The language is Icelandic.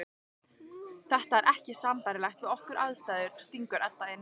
Það er ekki sambærilegt við okkar aðstæður, stingur Edda inn.